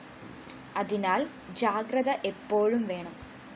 അതിനാല്‍ ജാഗ്രത എപ്പോഴും വേണം